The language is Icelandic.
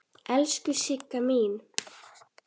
Elsku Sigga mín.